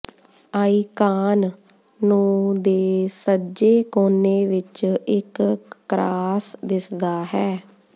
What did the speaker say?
icon ਨੂੰ ਦੇ ਸੱਜੇ ਕੋਨੇ ਵਿੱਚ ਇੱਕ ਕਰਾਸ ਦਿਸਦਾ ਹੈ